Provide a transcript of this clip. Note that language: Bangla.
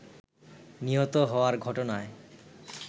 নিহত হওয়ার ঘটনায়